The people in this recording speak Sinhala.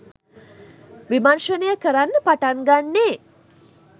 විමර්ෂණය කරන්න පටන් ගන්නේ?